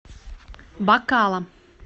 бакала